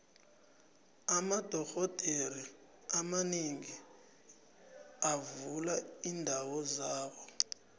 amadoxhodere abanengi bavula iindawo zabo